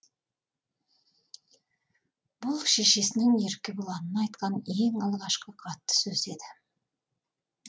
бұл шешесінің еркебұланына айтқан ең алғашқы қатты сөзі еді